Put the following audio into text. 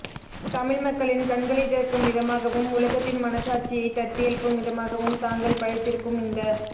தமிழ் மக்களின் கண்களை திறக்கும் விதமாகவும் உலகத்தின் மனச் சாட்சியைத் தட்டி எழுப்பும் விதமாகவும் தாங்கள் படைத்திருக்கும் இந்த